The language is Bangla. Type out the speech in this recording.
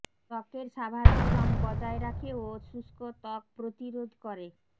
ত্বকের স্বাভাবিক রং বজায় রাখে ও শুষ্ক ত্বক প্রতিরোধ করে